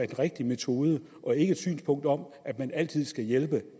den rigtige metode og ikke et synspunkt om at man altid skal hjælpe